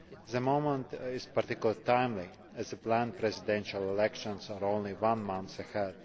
The moment is particularly timely, as the planned presidential elections are only one month ahead.